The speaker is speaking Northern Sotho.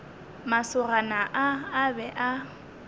masogana a a be a